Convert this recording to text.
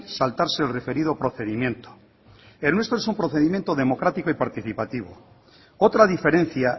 saltarse el referido procedimiento el nuestro es un procedimiento democrático y participativo otra diferencia